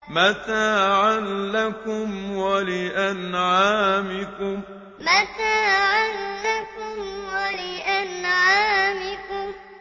مَّتَاعًا لَّكُمْ وَلِأَنْعَامِكُمْ مَّتَاعًا لَّكُمْ وَلِأَنْعَامِكُمْ